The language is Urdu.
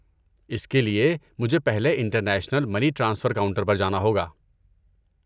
اس کے لیے، مجھے پہلے انٹرنیشنل منی ٹرانسفر کاؤنٹر پر جانا ہوگا؟